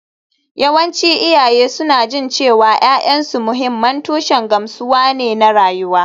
Yawancin iyaye suna jin cewa ’ya’yansu mahimman tushen gamsuwa ne na rayuwa